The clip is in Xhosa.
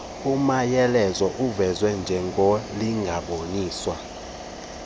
umanyelenzi uvezwe njengornlinganiswa